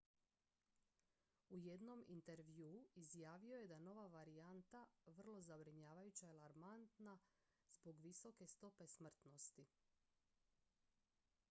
u jednom intervjuu izjavio je da nova varijanta vrlo zabrinjavajuća i alarmantna zbog vrlo visoke stope smrtnosti